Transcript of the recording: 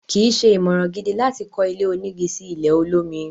kìí ṣe ìmọ̀ràn gidi láti kọ́ ilé onígi sí ilẹ̀ olómi.